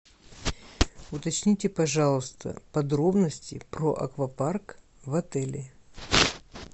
уточните пожалуйста подробности про аквапарк в отеле